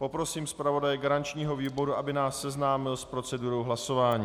Poprosím zpravodaje garančního výboru, aby nás seznámil s procedurou hlasování.